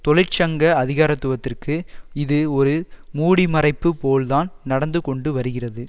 தொழிற்சங்க அதிகாரத்துவத்திற்கு இது ஒரு மூடிமறைப்பு போல் தான் நடந்து கொண்டு வருகிறது